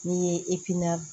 N'i ye